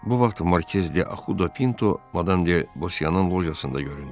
Bu vaxt Markez de Axudo Pinto Madam de Bosiyanın lojasında göründü.